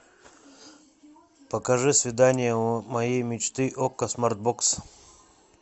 покажи свидание моей мечты окко смарт бокс